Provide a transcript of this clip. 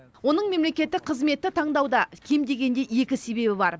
оның мемлекеттік қызметті таңдауда кем дегенде екі себебі бар